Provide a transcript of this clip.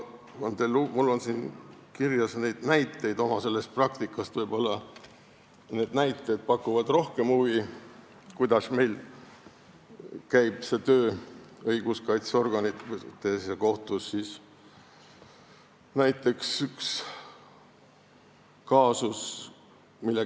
Mul on kirjas näiteid oma praktikast, kuidas käib töö õiguskaitseorganites ja kohtus, võib-olla need pakuvad rohkem huvi.